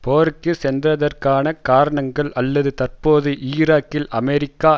போருக்கு சென்றதற்கான காரணங்கள் அல்லது தற்போது ஈராக்கில் அமெரிக்கா